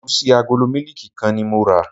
Ẹ̀gúsí agolo mílíìkì kan ni mo rà.